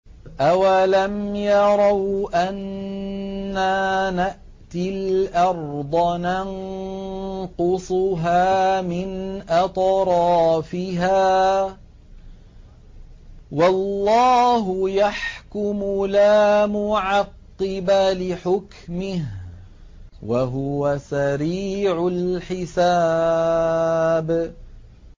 أَوَلَمْ يَرَوْا أَنَّا نَأْتِي الْأَرْضَ نَنقُصُهَا مِنْ أَطْرَافِهَا ۚ وَاللَّهُ يَحْكُمُ لَا مُعَقِّبَ لِحُكْمِهِ ۚ وَهُوَ سَرِيعُ الْحِسَابِ